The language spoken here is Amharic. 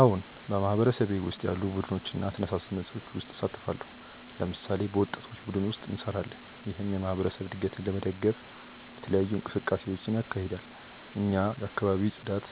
አዎን፣ በማህበረሰቤ ውስጥ ያሉ ቡድኖችና ተነሳሽነቶች ውስጥ እሳተፋለሁ። ለምሳሌ፣ በወጣቶች ቡድን ውስጥ እንሰራለን፣ ይህም የማህበረሰብ እድገትን ለመደገፍ የተለያዩ እንቅስቃሴዎችን ያካሂዳል። እኛ የአካባቢ ጽዳት፣